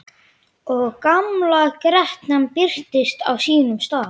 Og gamla grettan birtist á sínum stað.